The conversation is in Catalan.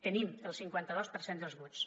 tenim el cinquanta dos per cent dels vots